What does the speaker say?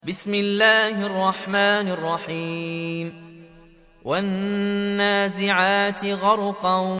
وَالنَّازِعَاتِ غَرْقًا